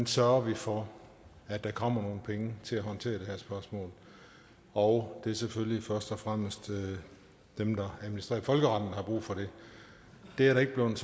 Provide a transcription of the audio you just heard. sørger for at der kommer nogle penge til at håndtere det her spørgsmål og det er selvfølgelig først og fremmest dem der administrerer folkeretten der har brug for det det er der ikke blevet